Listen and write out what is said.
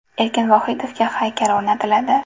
Erkin Vohidovga haykal o‘rnatiladi.